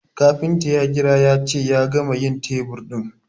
kafinta ya kira yace ya gama yin tebur ɗin